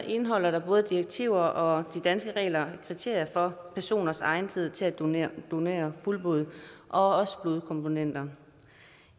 indeholder både direktiver og de danske regler kriterier for personers egnethed til at donere donere fuldblod og også blodkomponenter